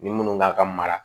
Ni minnu ka mara